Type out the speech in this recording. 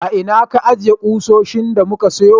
A ina ka ajiye kusoshin da muka sayo?